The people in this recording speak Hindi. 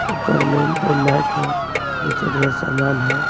ऊपर में दो मैक हैं नीचे ढेर सामान है।